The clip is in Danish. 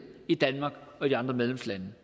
i danmark og i de andre medlemslande